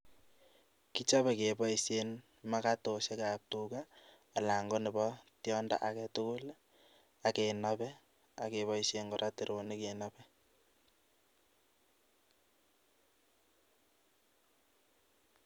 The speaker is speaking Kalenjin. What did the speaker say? kichobe keboisien magatosiekab tuga anan konebo tyondo age tugul ak kenobei ak keboisien kora teronik kenobe